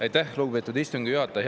Aitäh, lugupeetud istungi juhataja!